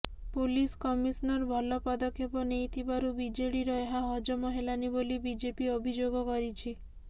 police commissioner ଭଲ ପଦକ୍ଷେପ ନେଇଥିବାରୁ ବିଜେଡିର ଏହା ହଜମ ହେଲାନି ବୋଲି ବିଜେପି ଅଭିଯୋଗ କରିଛି